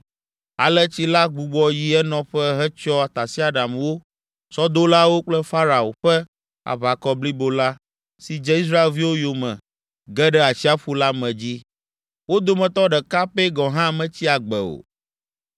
Ale tsi la gbugbɔ yi enɔƒe hetsyɔ tasiaɖamwo, sɔdolawo kple Farao ƒe aʋakɔ blibo la, si dze Israelviwo yome ge ɖe atsiaƒu la me dzi. Wo dometɔ ɖeka pɛ gɔ̃ hã metsi agbe o.